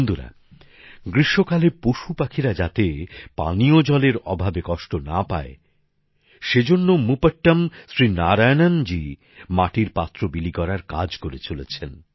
বন্ধুরা গ্রীষ্মকালে পশুপাখিরা যাতে পানীয় জলের অভাবে কষ্ট না পায় সেজন্য মূপট্টম শ্রী নারায়ণনজী মাটির পাত্র বিলি করার কাজ করে চলেছেন